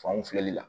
Fanw filɛli la